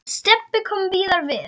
Stebbi kom víðar við.